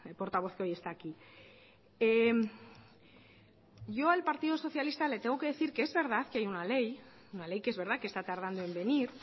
portavoz que hoy está aquí yo al partido socialista le tengo que decir que es verdad que hay una ley una ley que es verdad que está tardando en venir